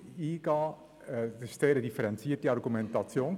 Ich denke, das war eine sehr differenzierte Argumentation.